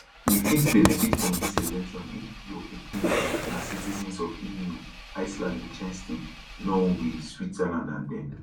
you fit benefit from dis exemption if your pikin dem na citizens of eu iceland liech ten stein norway switzerland and dem